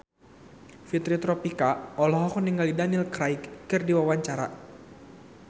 Fitri Tropika olohok ningali Daniel Craig keur diwawancara